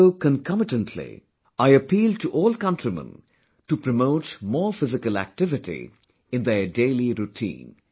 Also concomitantly, I appeal to all countrymen to promote more physical activity in their daily routine